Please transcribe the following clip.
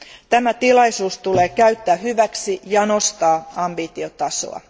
Tämä tilaisuus täytyy käyttää hyväksi ja nostaa ambitiotasoa.